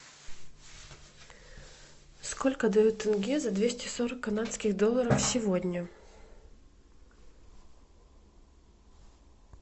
сколько дают тенге за двести сорок канадских долларов сегодня